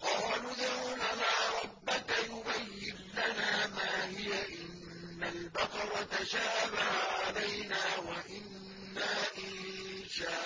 قَالُوا ادْعُ لَنَا رَبَّكَ يُبَيِّن لَّنَا مَا هِيَ إِنَّ الْبَقَرَ تَشَابَهَ عَلَيْنَا وَإِنَّا إِن شَاءَ